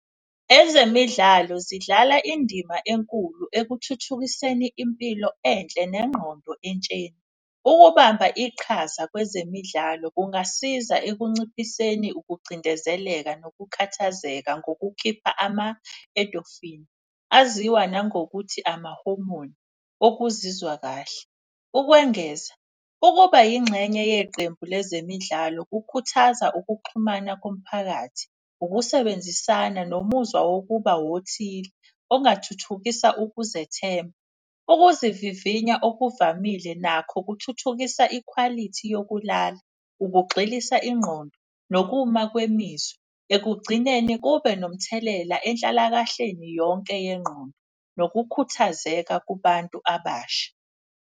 Ezemidlalo zidlala indima enkulu ekuthuthukiseni impilo enhle nengqondo entsheni. Ukubamba iqhaza kwezemidlalo kungasiza ekunciphiseni ukucindezeleka nokukhathazeka ngokukhipha ama-endorphin, aziwa nangokuthi amahomoni okuzizwa kahle. Ukwengeza ukuba yingxenye yeqembu lezemidlalo kukhuthaza ukuxhumana komphakathi, ukusebenzisana. Nomuzwa wokuba wothile okungathuthukisa ukuzethemba. Ukuzivivinya okuvamile nakho kuthuthukisa ikhwalithi yokulala, ukugxilisa ingqondo, nokuma kwemizwa. Ekugcineni kube nomthelela enhlalakahleni yonke yengqondo nokukhuthazeka kubantu abasha.